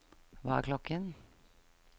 hva er klokken